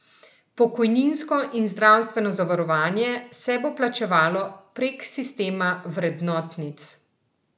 Pokojninsko in zdravstveno zavarovanje se bo plačevalo prek sistema vrednotnic.